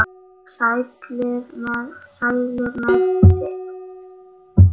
Sælir með sitt.